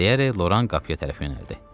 Deyərək Loran qapıya tərəf yönəldi.